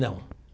Não.